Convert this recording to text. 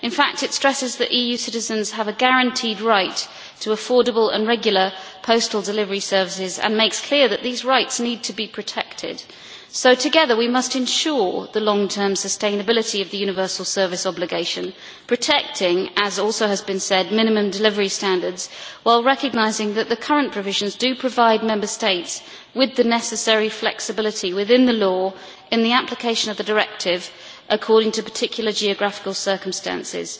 In fact, it stresses that EU citizens have a guaranteed right to affordable and regular postal delivery services and it makes clear that these rights need to be protected. So together we must ensure the long term sustainability of the universal service obligation, protecting, as has also been said, minimum delivery standards while recognising that the current provisions do provide Member States with the necessary flexibility within the law in the application of the directive, according to particular geographical circumstances.